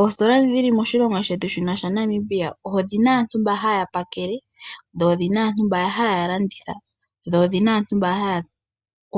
Oositola dhi dhili moshilongo shetu shino shaNamibia, odhina aantu mba haya pakele, dho odhina aantu mba haya landitha, dho odhina aantu mba haya